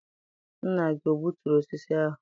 Nna gị o gbuturu osisi ahụ?